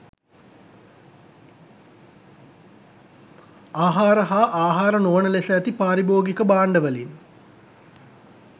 ආහාර හා ආහාර නොවන ලෙස ඇති පාරිභෝගික භාණ්ඩවලින්